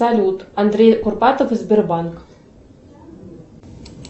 салют андрей курпатов и сбербанк